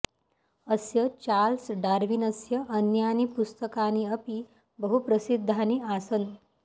अस्य चार्ल्स डार्विनस्य अन्यानि पुस्तकानि अपि बहुप्रसिद्धानि आसन्